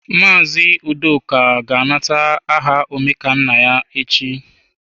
Mazị Udoka ga-anata aha Omekannaya echi.